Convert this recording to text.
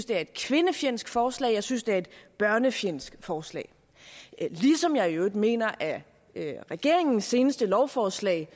det er et kvindefjendsk forslag og jeg synes det er et børnefjendsk forslag ligesom jeg i øvrigt mener at regeringens seneste lovforslag